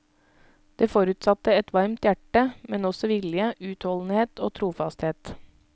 Det forutsatte et varmt hjerte, men også vilje, utholdenhet og trofasthet.